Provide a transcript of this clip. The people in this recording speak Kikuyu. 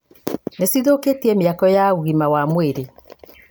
nĩcithũkĩtie mĩako ya ũgima wa mwĩrĩ